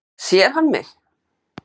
Sér hann mig?